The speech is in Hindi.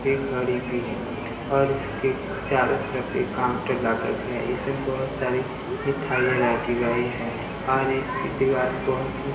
पे घड़ी भी है और इसके चारों तरफ एक काउंटर लागत गया है इसमें बहुत सारी मिठाइयाँ रखी गई हैं और इसकी दीवाल बहुत ही --